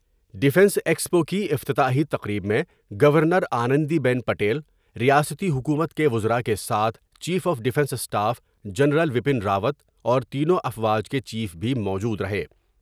Defence expo کی افتتاحی تقریب میں governor Anandiben Patel, ریاسی حکومت کے وزراء کے ساتھ chief of defence staff general Bipin Rawat اور تینوں افواج کے چیف بھی موجودر ہے ۔